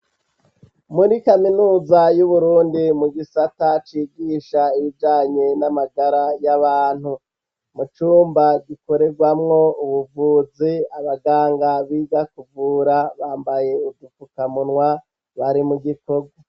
Muri kaminuza y'uburundi mu gisata cigisha ibijanye n'amagara y'abantu, mu cumba gikorerwamwo ubuvuzi abaganga biga kuvura bambaye udufukamunwa bari mugikogwa.